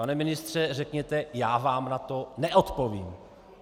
Pane ministře, řekněte "já vám na to neodpovím".